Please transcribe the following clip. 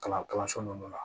Kalan kalanso ninnu na